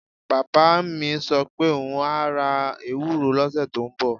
Bàbá mi sọ pé òun á ra ewuro lọ́sẹ̀ tó ń bọ̀